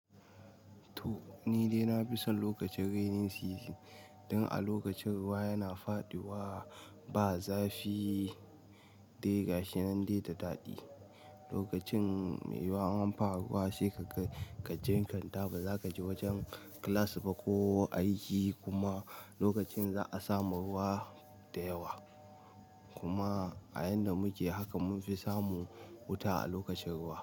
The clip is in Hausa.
To nidai nafi son lokacin raining season dan a lokacin ruwa yana faɗuwa ba zafi dai gashinan dai da daɗi. Lokacin mai yuwa in an fara ruwa saika jinkirta baza kaje wajen class ba ko aiki kuma lokacin za'a samu ruwa da yawa kuma a yadda muke haka mun fi samu wuta a lokacin ruwa.